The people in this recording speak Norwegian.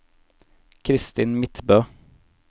Kristin Midtbø